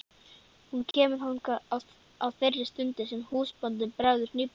Hún kemur þangað á þeirri stund sem húsbóndinn bregður hnífnum.